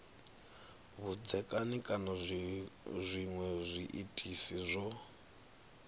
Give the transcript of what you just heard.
vhudzekani kana zwinwe zwiitisi zwo